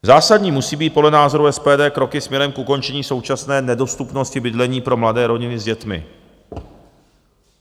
Zásadní musí být podle názoru SPD kroky směrem k ukončení současné nedostupnosti bydlení pro mladé rodiny s dětmi.